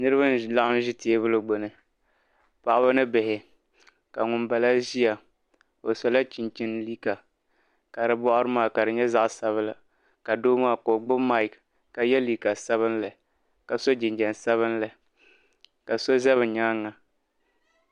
Niriba n-laɣim ʒi teebuli gbuni paɣaba ni bihi ka ŋun bala ʒiya o sola chinchini liiga ka di buɣari maa ka di nyɛ zaɣ'sabila ka doo maa ka o gbubi "mic" ka ye liiga sabinli ka ye liiga sabinli ka so za be nyaaŋa.